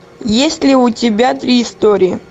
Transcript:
есть ли у тебя три истории